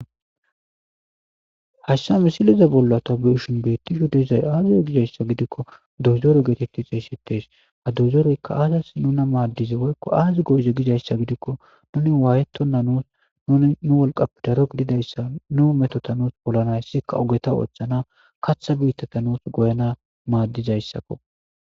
Haysa misileza bolla ta beyishn betizay aze gizaysa gidikon doyzore geteti xeysetetesi, ha doyzoreyka aazasi nuna maadize woyko aazi go'ize gizaysa gidikon nini wayetona nuusi nu wolqappe daro gididaysa nu Metota nuusi polanasika ogeta oothanasi , katha biitata nuusi goyanasi madizaysako